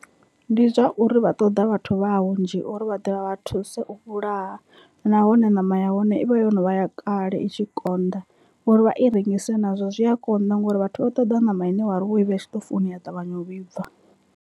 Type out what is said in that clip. Ndi zwa uri vha ṱoḓa vhathu vha hunzhi uri vha ḓe vha vha thuse u vhulaha nahone ṋama ya hone ivha yo novha ya kale i tshi konḓa, uri vha i rengise nazwo zwi a konḓa ngori vhathu vha ṱoḓa ṋama ine wari wo ivha i tshiṱofuni ya ṱavhanya u vhibva.